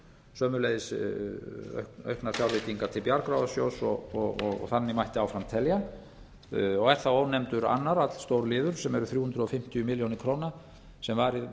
sömuleiðis auknar fjárveitingar til bjargráðasjóðs og þannig mætti áfram telja og er þá ónefndur annar allstór liður sem eru þrjú hundruð fimmtíu milljónir króna sem varið var í